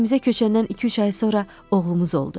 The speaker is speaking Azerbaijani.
Evimizə köçəndən iki-üç ay sonra oğlumuz oldu.